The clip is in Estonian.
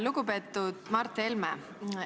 Lugupeetud Mart Helme!